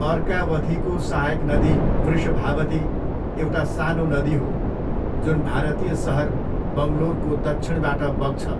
अर्कावथीको सहायक नदी वृषभावती एउटा सानो नदी हो जुन भारतीय सहर बङ्गलोरको दक्षिणबाट बग्छ।